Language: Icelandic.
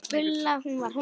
Gulla. hún var.